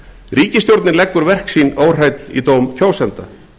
ríkisstjórnin leggur verk sín óhrædd í dóm kjósenda